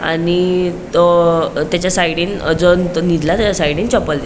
आणि तो तेचा साइडीन जो निदला तेचा साइडीन चप्पल दि --